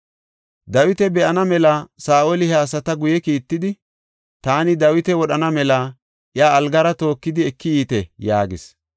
Dawita be7ana mela Saa7oli he asata guye kiittidi, “Taani Dawita wodhana mela iya algara tookidi eki yiite” yaagis.